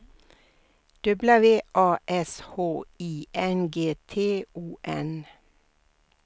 W A S H I N G T O N